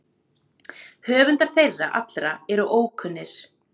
Höfundar þeirra allra eru ókunnir.